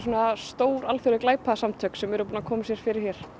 stór alþjóðleg glæpasamtök búin að koma sér fyrir hér